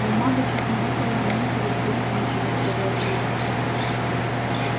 бумага чуть не выпала из моих рук делать нечего сказал зурин